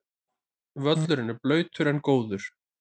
Völlurinn blautur en góður